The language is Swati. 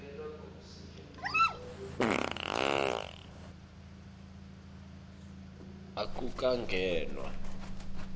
akukangenwa